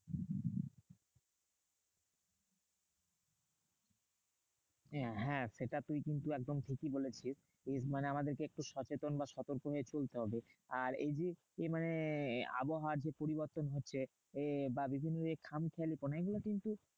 হ্যাঁ হ্যাঁ সেটা তুই কিন্তু একদম ঠিকই বলেছিস। মানে আমাদেরকে একটু সচেতন বা সতর্ক হয়ে চলতে হবে। আর এই যে এই মানে আবহাওয়ার যে পরিবর্তন হচ্ছে এ বা বিভিন্ন যে খামখেয়ালিপনা এগুলো কিন্তু